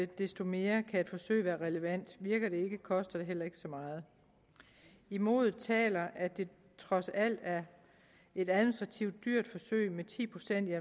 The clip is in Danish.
desto mere kan et forsøg være relevant virker det ikke koster det heller ikke så meget imod taler at det trods alt er et administrativt dyrt forsøg med ti procent